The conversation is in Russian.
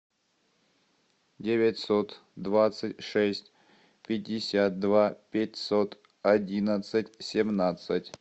девятьсот двадцать шесть пятьдесят два пятьсот одинадцать семнадцать